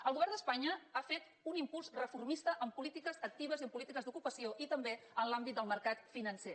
el govern d’espanya ha fet un impuls reformista en polítiques actives i en polítiques d’ocupació i també en l’àmbit del mercat financer